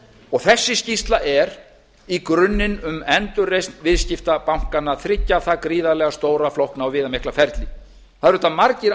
og þessi skýrsla er í grunninn um endurreisn viðskiptabankanna þriggja það gríðarlega stóra flókna og viðamikla ferli það eru auðvitað margir